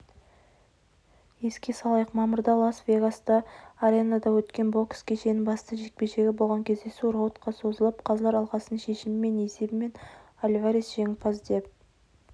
еске салайық мамырда лас-вегастағы аренада өткен бокс кешінің басты жекпе-жегі болған кездесу раудқа созылып қазылар алқасының шешімімен есебімен альварес жеңімпаз деп